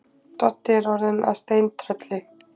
Doddi er orðinn að steintrölli.